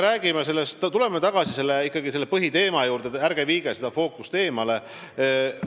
Aga tuleme ikkagi tagasi põhiteema juurde, ärge viige fookust eemale!